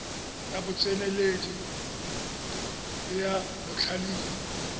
ya botseneledi le ya botlhalefi